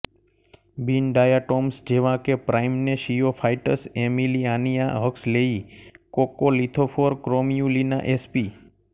બિનડાયાટોમ્સ જેવાં કે પ્રાઈમ્નેશિયોફાયટ્સ એમિલિઆનિઆ હક્સલેયી કોક્કોલિથોફોર ક્રોમયુલિના એસપી